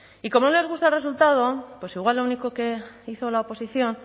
y como no les gusta el resultado pues igual lo único que hizo la oposición